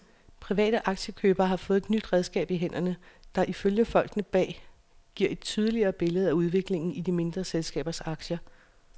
Private aktiekøbere har fået et nyt redskab i hænderne, der ifølge folkene bag giver et tydeligere billede af udviklingen i de mindre selskabers aktier.